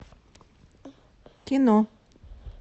кино